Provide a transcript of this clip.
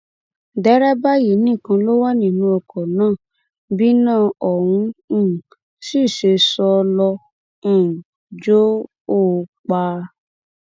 derébà yìí nìkan ló wà nínú ọkọ náà bíná òun um sì ṣe sọ ló um jọ ọ pa